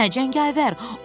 Hə, cəngavər.